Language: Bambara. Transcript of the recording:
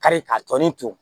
Kari ka tɔnni turu